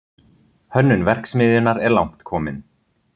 Hönnun verksmiðjunnar er langt komin